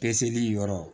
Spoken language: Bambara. Peseli yɔrɔ